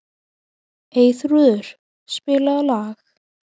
Eyþrúður, spilaðu lag.